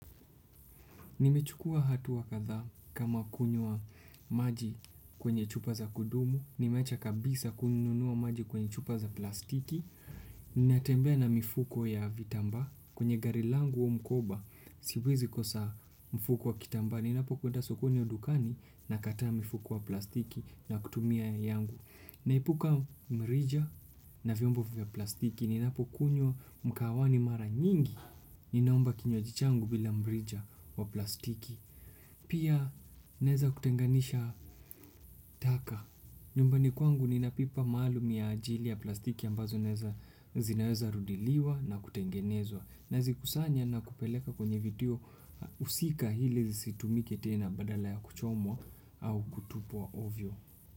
Nimechukua hatua kadhaa kama kunywa maji kwenye chupa za kudumu, nimeacha kabisa kununua maji kwenye chupa za plastiki, ninatembea na mifuko ya vitambaa kwenye gari langu kubwa. Siwezi kosa mfuko wa kitambaa. Ninapokwenda sokoni au dukani nakataa mfuko wa plastiki na kutumia yangu. Naepuka mrija na vyombo vya plastiki ninapo kunywa mkahawani mara nyingi. Ninaomba kinywaji changu bila mrija wa plastiki. Pia naeza kutenganisha taka. Nyumbani kwangu ninapipa maalumu ya ajili ya plastiki ambazo zinaweza rudiliwa na kutengenezwa. Nazikusanya na kupeleka kwenye vituo husika ili zisitumike tena badala ya kuchomwa au kutupwa ovyo.